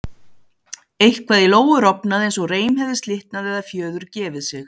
Eitthvað í Lóu rofnaði eins og reim hefði slitnað eða fjöður gefið sig.